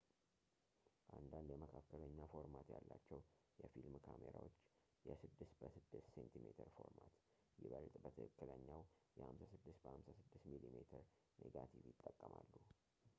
አንዳንድ የመካከለኛ ፎርማት ያላቸው የፊልም ካሜራዎች የ 6 በ6ሴሜ ፎርማት ይበልጥ በትክክለኛው የ56 በ 56 ሚሜ ኔጋቲቭ ይጠቀማሉ